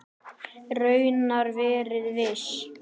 Raunar verið viss.